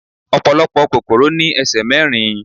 Ọ̀pọ̀lọpọ̀ kòkòrò ní ẹsẹ̀ mẹ́rin